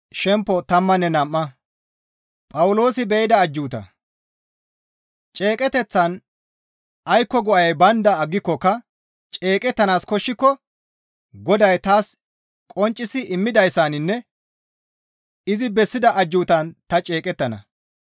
Ceeqeteththan aykko go7ay baynda aggikokka ceeqettanaas koshshiko Goday taas qonccisi immidayssaninne izi bessida ajjuutan ta ceeqettana.